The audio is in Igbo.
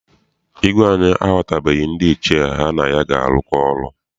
Igwe anyi ahọputabeghi ndị Ichie ya na ha ga arụkọ ọrụ.